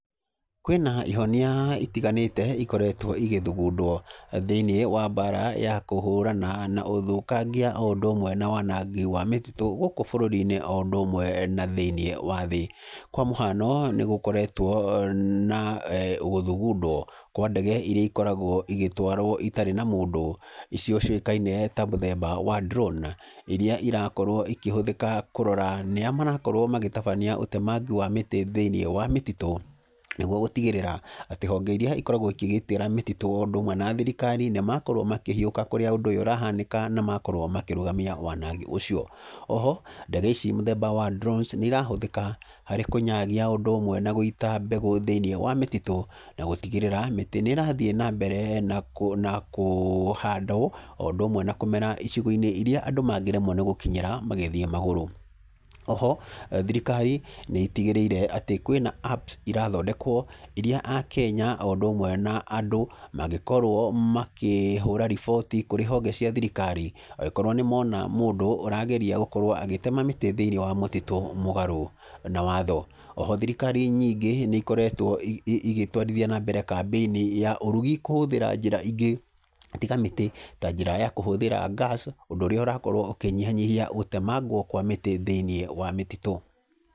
Kwĩna ihonia itiganĩte ikoretwo igĩthugundwo thĩiniĩ wa mbara ya kũhũrana na ũthũkangia oũndũ ũmwe na wanangi wa mĩtitũ gũkũ bũrũri-inĩ oũndũ ũmwe na thĩinĩ wa thĩ. Kwa mũhiano, nĩgũkoretwo na gũthugundwo kwa ndege iria ikoragwo igĩtwarwo itarĩ na mũndũ, icio ciũĩkaine ta mũthemba wa drone iria irakorwo ikĩhũthĩka kũrora nĩa marakorwo magĩtabania ũtemangi wa mĩtĩ thĩinĩ wa mĩtitũ, nĩguo gũtigĩrĩra atĩ honge iria ikoragwo ikĩgitĩra mĩtitũ oũndũ ũmwe na thirikari nĩmakorwo makĩhiũka kũrĩa ũndũ ũyũ ũrahanĩka na makorwo makĩrũgtamia wanangi ũcio. Oho, ndege icic mũthemba wa drones nĩirahũthĩka harĩ kũnyagia, ũndũ ũmwe na gũita mbegũ thĩinĩ wa mĩtitũ na gũtigĩrĩra mĩtĩ nĩ ĩrathiĩ na mbere na kũhandwo, oũndũ ũmwe na kũmera icigo-inĩ iria andũ mangĩremwo nĩgũkinyĩra magĩthiĩ magũrũ. Oho, thirikari nĩ ĩtigĩrĩire atĩ kwĩna apps irathondekwo, iria akenya oũndũ ũmwe na andũ mangĩkorwo makĩhũra riboti kũrĩ honge cia thirikari angĩkorwo nĩmona mũndũ ũrageria gũkorwo agĩtema mĩtĩ thĩiniĩ wa mũtitũ mũgarũ na watho. Oho thirikari nyingĩ nĩikoretwo igĩtwarithia nambere kamĩini ya ũrugi kũhũthĩra njĩra ingĩ tiga mĩtĩ, ta njĩra ya kũhũthĩra gas ũndũ ũrĩa ũrakorwo ũkĩnyiha nyihia gũtemangwo kwa mĩtĩ thĩiniĩ wa mĩtitũ.